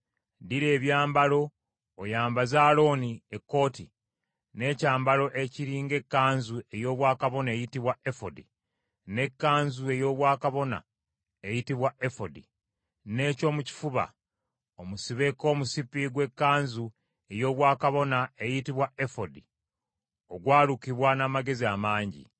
Ddira ebyambalo, oyambaze Alooni ekkooti, n’ekyambalo ekiri ng’ekkanzu ey’obwakabona eyitibwa efodi, n’ekkanzu ey’obwakabona eyitibwa efodi, n’ekyomukifuba, omusibeko omusipi gw’ekkanzu ey’obwakabona eyitibwa efodi ogwalukibwa n’amagezi amangi;